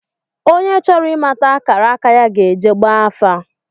Onye chọrọ ị̣mata akara aka ya ga-ejee gbaa afa